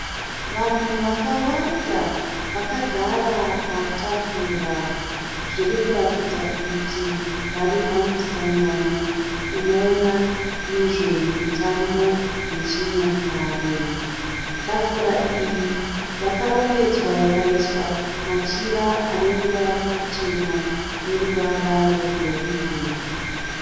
Vanhu vakawanda vakagara patafura. Zviri kuratidza kuti vari pamusangano unoona nezve mitambo yechinyakare. Tafura iyi yakarongedzwa ikaiswa machira ane ruvara ruchena neruvara rwegoridhe.